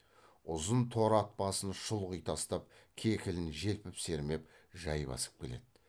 ұзын торы ат басын шұлғи тастап кекілін желпіп сермеп жай басып келеді